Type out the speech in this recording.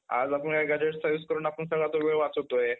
आज आपण एखादया service करून आपण सगळा तो वेळ वाचवतोय.